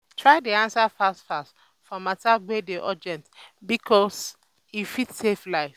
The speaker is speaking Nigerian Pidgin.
try dey ansa fast fast for mata wey dey urgent bikos e fit save life